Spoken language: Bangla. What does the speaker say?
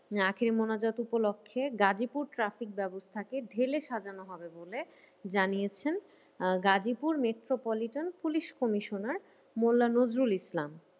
আখেরি মোনাজাত উপলক্ষে গাজিপুর traffic ব্যবস্থাকে ঢেলে সাজানো হবে বলে জানিয়েছেন আহ Gazipur metropolitan police commissioner Mollah Nazrul ইসলাম।